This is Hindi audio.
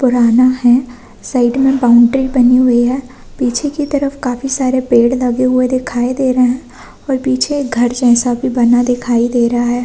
पुराना है साइड में बाउंड्री बनी हुई है पीछे की तरफ काफी सारे पेड़ लगे हुए दिखाई दे रहे है और पीछे घर जैसा बना भी दिखाई दे रहा है।